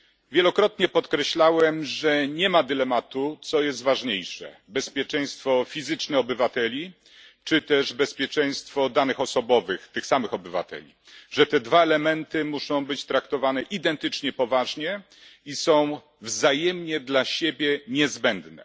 Wielokrotnie podkreślałem, że nie ma dylematu, co jest ważniejsze bezpieczeństwo fizyczne obywateli czy też bezpieczeństwo danych osobowych tych samych obywateli, że te dwa elementy muszą być traktowane identycznie poważnie i są wzajemnie dla siebie niezbędne.